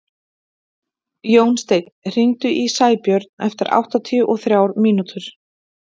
Jónsteinn, hringdu í Sæbjörn eftir áttatíu og þrjár mínútur.